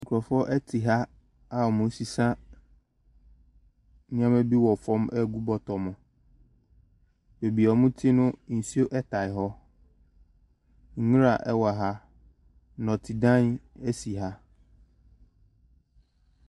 Nkrɔfoɔ bi te ha a wɔresesa nneɛma bi agu bɔtɔ mu. Baabi wɔte no nsuo taa hɔ, nwura ɛwɔ ha, nnɔtedan si ha.